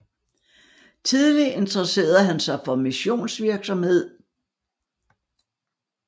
Tidlig interesserede han sig for for missionsvirksomhed